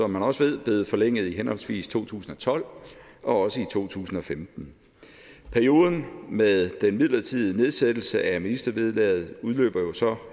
man også ved blevet forlænget i henholdsvis to tusind og tolv og to tusind og femten perioden med den midlertidige nedsættelse af ministervederlaget udløber så